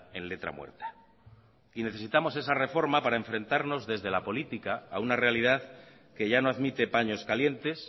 en letra muerta y necesitamos esa reforma para enfrentarnos desde la política a una realidad que ya no admite paños calientes